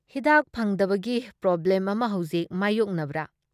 ꯍꯤꯗꯥꯛ ꯐꯪꯗꯕꯒꯤ ꯄ꯭ꯔꯣꯕ꯭ꯂꯦꯝ ꯑꯃ ꯍꯧꯖꯤꯛ ꯃꯥꯌꯣꯛꯅꯕ꯭ꯔꯥ?